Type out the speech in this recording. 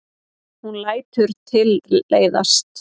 Hún lætur tilleiðast.